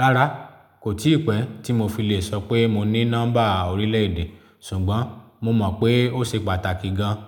Rárá, kò tíì pẹ́ tí mo fi lè sọ pé mo ní nọ́mbà orílẹ̀-èdè, ṣùgbọ́n mo mọ̀ pé ó ṣe pàtàkì gan-an.